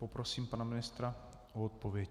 Poprosím pana ministra o odpověď.